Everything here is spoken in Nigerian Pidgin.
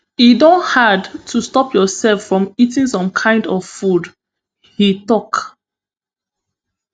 e don hard to stop yourself from eating some kind of food im tok